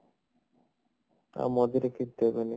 ଆଉ ମଝିରେ କିଛି ଦେବେନି